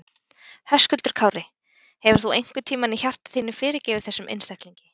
Höskuldur Kári: Hefur þú einhvern tímann í hjarta þínu fyrirgefið þessum einstaklingi?